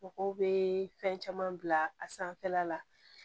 Mɔgɔw bɛ fɛn caman bila a sanfɛla la